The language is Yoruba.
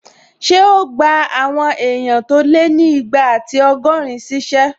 Ṣé o gbà àwọn èèyàn tó lé ní igba ati ọgọ́rin ṣíṣẹ́?